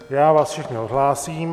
Já vás všechny odhlásím.